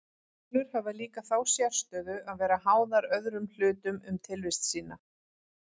Holur hafa líka þá sérstöðu að vera háðar öðrum hlutum um tilvist sína.